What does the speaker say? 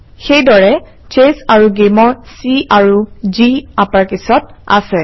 সেইদৰে চেছ আৰু Game অৰ C আৰু G আপাৰকেচত আছে